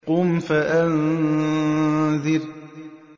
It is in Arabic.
قُمْ فَأَنذِرْ